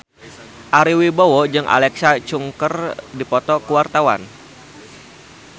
Ari Wibowo jeung Alexa Chung keur dipoto ku wartawan